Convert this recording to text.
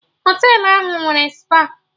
Họtelụ ahụ nwere spa